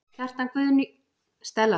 Kjartan Guðjónsson, myndlistarmaður svarar